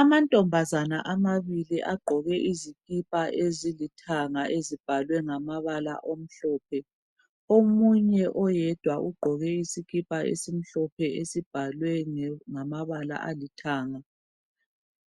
Amantombazana amabili aqgoke izikipa ezilithanga ezibhalwe ngamabala omhlophe omunye oyedwa uqgoke isikipa esimhlophe esibhalwe ngamabala alithanga